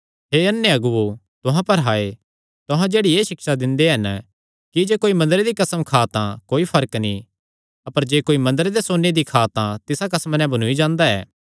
हे अन्ने अगुओ तुहां पर हाय तुहां जेह्ड़ी एह़ सिक्षा दिंदे हन कि जे कोई मंदरे दी कसम खां तां कोई फर्क नीं अपर जे कोई मंदरे दे सोन्ने दी खां तां तिसा कसमा नैं बन्नूई जांदा ऐ